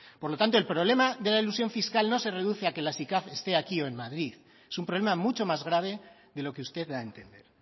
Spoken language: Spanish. por lo tanto el problema de la elusión fiscal no se reduce a que la sicav esté aquí o en madrid es un problema mucho más grave de lo que usted da a entender